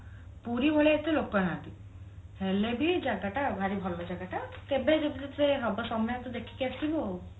ପୁରୀ ଭଳିଆ ଏତେ ଲୋକ ନାହାନ୍ତି ହେଲେ ବି ଜାଗା ଟା ଭାରି ଭଲ ଜାଗା ଟା କେବେ ଯଦି ତତେ ହବ ସମୟ ତୁ ଦେଖିକି ଆସିବୁ ଆଉ